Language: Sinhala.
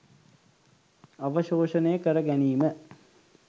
අවශෝෂණය කරගැනීම